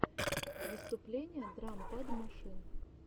выступление драм пад машин